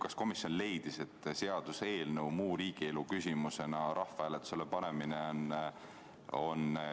Kas komisjon leidis, et seaduseelnõu muu riigielu küsimusena rahvahääletusele panemine on õigustatud?